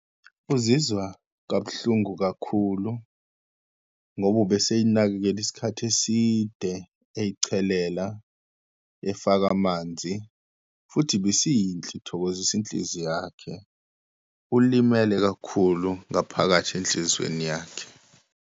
Uzizwa kabuhlungu kakhulu ngoba ube seyinakekele isikhathi eside, eyichelela, efaka amanzi, futhi ibisiyinhle ithokozisa inhliziyo yakhe, ulimele kakhulu ngaphakathi enhlizweni yakhe.